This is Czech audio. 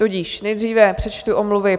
Tudíž nejdříve přečtu omluvy.